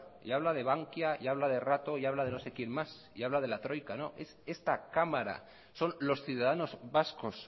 y habla de bankia y habla de rato y habla de no sé quien más y habla de la troika no es esta cámara son los ciudadanos vascos